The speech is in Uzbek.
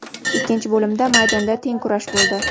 Ikkinchi bo‘limda maydonda teng kurash bo‘ldi.